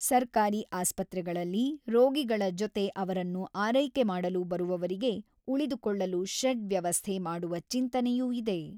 ಸರ್ಕಾರಿ ಆಸ್ಪತ್ರೆಗಳಲ್ಲಿ ರೋಗಿಗಳ ಜೊತೆ ಅವರನ್ನು ಆರೈಕೆ ಮಾಡಲು ಬರುವವರಿಗೆ ಉಳಿದುಕೊಳ್ಳಲು ಶೆಡ್ ವ್ಯವಸ್ಥೆ ಮಾಡುವ ಚಿಂತನೆಯೂ ಇದೆ.